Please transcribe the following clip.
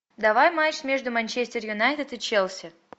давай матч между манчестер юнайтед и челси